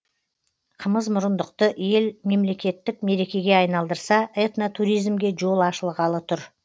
қымызмұрындықты ел мемлекеттік мерекеге айналдырса этно туризмге жол ашылғалы тұр